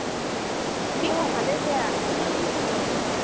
অ ভালে দিয়া তুমাৰ কি খবৰ